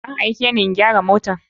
An aikeni in gyara mota.